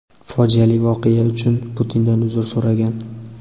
fojiali voqea uchun Putindan uzr so‘ragan.